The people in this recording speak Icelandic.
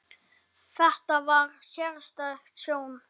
Þetta var sérstæð sjón.